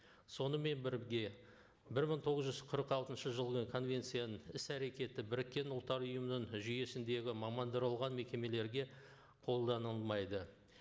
сонымен бірге бір мың тоғыз жүз қырық алтыншы жылдың конвенцияның іс әрекеті бірікке ұлттар ұйымының жүйесіндегі мамандырылған мекемелерге қолданылмайды